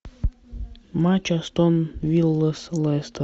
матч астон вилла с лестер